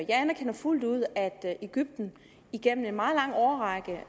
jeg anerkender fuldt ud at egypten igennem en meget lang årrække